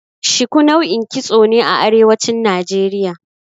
Shiku nau'in kitso ne a Arewacin Najeriya.